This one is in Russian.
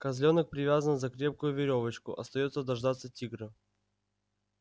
козлёнок привязан за крепкую верёвочку остаётся дождаться тигра